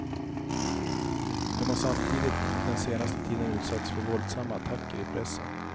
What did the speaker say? De har samtidigt den senaste tiden utsatts för våldsamma attacker i pressen.